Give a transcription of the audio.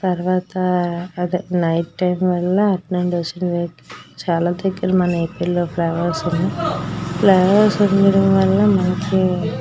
తర్వాత అదే night time వల్ల అటు నుండి వస్తున్న వెహికల్స్ చాలా దగ్గర మన ఏపి లోకి రావాల్సింది ఫ్లై ఓవర్స్ ఉండడం వల్ల మనకి --